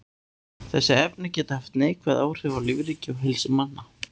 Þessi efni geta haft neikvæð áhrif á lífríki og heilsu manna.